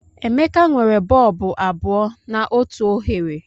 Emeka nwere bọlbụ abụọ na otu oghere.